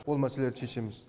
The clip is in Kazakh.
ол мәселелерді шешеміз